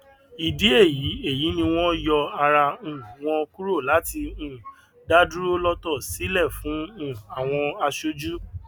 ìdí èyí èyí ni wọn yọ ara um wọn kúrò láti um dá dúró lọtọ sílẹ fún um àwọn aṣojú